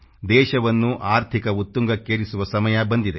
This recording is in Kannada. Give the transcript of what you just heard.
ದೇಶವನ್ನು ಆರ್ಥಿಕ ಉತ್ತುಂಗಕ್ಕೇರಿಸುವ ಸಮಯ ಬಂದಿದೆ